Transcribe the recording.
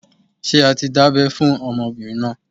Ṣé a ti dábẹ́ fún ọmọbìnrin náà?